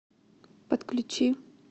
подключи